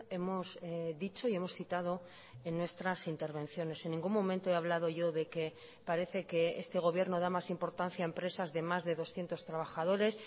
hemos dicho y hemos citado en nuestras intervenciones en ningún momento he hablado yo de que parece que este gobierno da más importancia a empresas de más de doscientos trabajadores